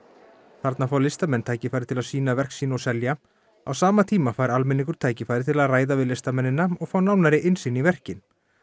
þarna fá listamenn tækifæri til að sýna verk sín og selja á sama tíma fær almenningur tækifæri til að ræða við listamennina og fá nánari innsýn í verkin